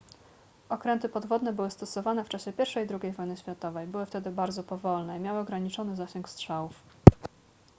okręty podwodne były stosowane w czasie i i ii wojny światowej były wtedy bardzo powolne i miały ograniczony zasięg strzałów